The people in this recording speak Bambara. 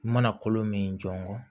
I mana kolo min jɔ